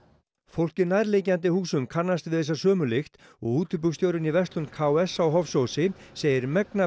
fólk í nærliggjandi húsum kannast við þessa sömu lykt og í verslun k s á Hofsósi segir megna